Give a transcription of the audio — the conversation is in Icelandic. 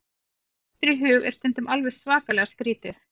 Það sem mér dettur í hug er stundum alveg svakalega skrítið.